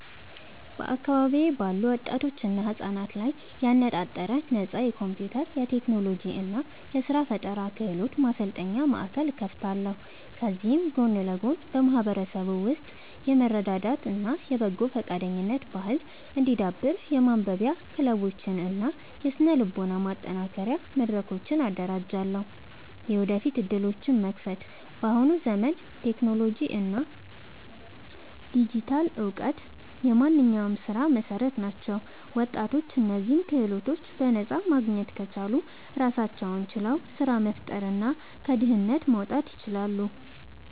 በአካባቢዬ ባሉ ወጣቶችና ህጻናት ላይ ያነጣጠረ ነፃ የኮምፒውተር፣ የቴክኖሎጂ እና የስራ ፈጠራ ክህሎት ማሰልጠኛ ማእከል እከፍታለሁ። ከዚህም ጎን ለጎን በማህበረሰቡ ውስጥ የመረዳዳት እና የበጎ ፈቃደኝነት ባህል እንዲዳብር የማንበቢያ ክለቦችን እና የስነ-ልቦና ማጠናከሪያ መድረኮችን አደራጃለሁ። የወደፊት ዕድሎችን መክፈት፦ በአሁኑ ዘመን ቴክኖሎጂ እና ዲጂታል እውቀት የማንኛውም ስራ መሰረት ናቸው። ወጣቶች እነዚህን ክህሎቶች በነፃ ማግኘት ከቻሉ ራሳቸውን ችለው ስራ መፍጠርና ከድህነት መውጣት ይችላሉ።